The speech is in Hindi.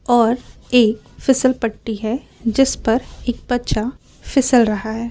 और एक फिसल पट्टी है जिस पर एक बच्चा फिसल रहा है।